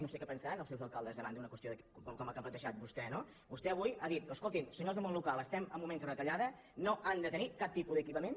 no sé què pensaran els seus alcaldes davant d’una qüestió com la que ha plantejat vostè no vostè avui ha dit escoltin senyors del món local es·tem en moments de retallada no han de tenir cap tipus d’equipament